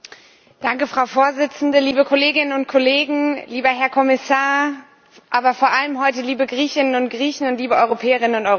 Frau Präsidentin, liebe Kolleginnen und Kollegen, lieber Herr Kommissar, heute aber vor allem liebe Griechinnen und Griechen und liebe Europäerinnen und Europäer!